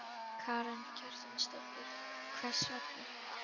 Karen Kjartansdóttir: Hvers vegna?